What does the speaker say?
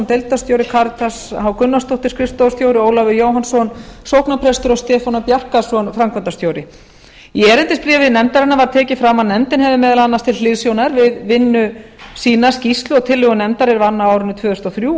deildarstjóri karitas h gunnarsdóttir skrifstofustjóri ólafur jóhannsson sóknarprestur og stefán e bjarkason framkvæmdastjóri í erindisbréfi nefndarinnar er tekið fram að nefndin hafi meðal annars til hliðsjónar við vinnu sína skýrslu og tillögur nefndar er vann árið tvö þúsund og þrjú